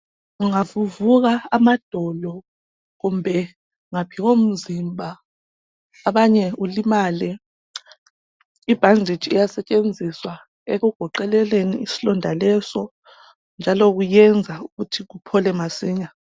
Ungavuvuka amadolo kumbe ngaphi komzimba abanye ulimale, ibhanditshi iyasetshenziswa ekugoqeleleni isilonda leso njalo kuyenza ukuthi kuphole masinya.